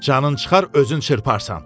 Canın çıxar özün çırparsən.